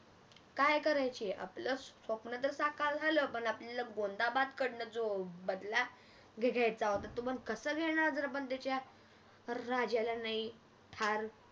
काय करायचे आपले स्वप्न तर साकार जाल पण आपल्याला गोंदाबादकडण जो हम्म बदला घ्यायचा होता तो कसं घेणार जर आपण त्याच्या हम्म राजाला नाही अं ठार